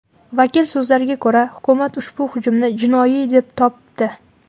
Vakil so‘zlariga ko‘ra, hukumat ushbu hujumni jinoiy deb topdi.